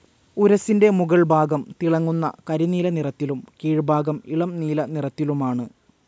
ഉരസ്സിന്റെ മുകൾ ഭാഗം തിളങ്ങുന്ന കരിനീല നിറത്തിലും കീഴ്ഭാഗം ഇളം നീല നിറത്തിലുമാണ്.